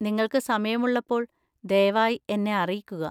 നിങ്ങൾക്ക് സമയമുള്ളപ്പോൾ ദയവായി എന്നെ അറിയിക്കുക.